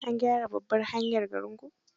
An gyara babbar hanyar garinku?